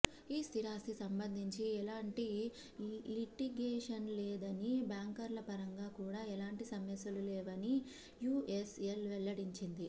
ఈ స్థిరాస్తి సంబంధించి ఎలాంటి లిటిగేషన్లేదని బ్యాంకర్లపరంగా కూడా ఎలాంటి సమస్యలు లేవని యుఎస్ఎల్ వెల్లడించింది